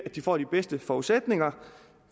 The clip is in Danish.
de får de bedste forudsætninger